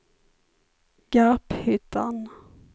Garphyttan